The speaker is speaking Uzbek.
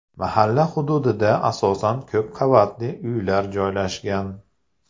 Mahalla hududida asosan ko‘p qavatli uylar joylashgan.